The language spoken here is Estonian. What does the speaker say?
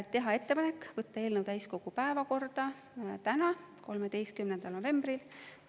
Teha ettepanek võtta eelnõu täiskogu päevakorda täna, 13. novembril.